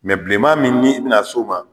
bi bilenman min ni i bɛna s'o ma